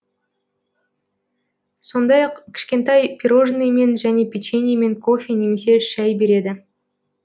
сондай ақ кішкентай пирожныймен және печеньемен кофе немесе шай береді